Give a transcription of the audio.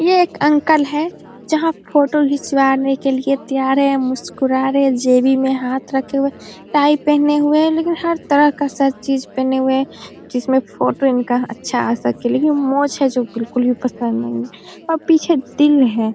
ये एक अंकल है जहाँ फोटो के लिए तैयार है मुस्‍कुरा रहे में हाथ रखे हुए टाई पहने हुए है लेकिन हर तरह का सब चीज़ पहने हुए हैं जिसमें फोटो इनका अच्‍छा आ सके लेकिन है जो बिल्‍कुल भी पसंद नही है अ पीछे तिल है।